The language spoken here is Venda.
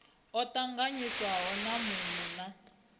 o tanganyiswaho na muno na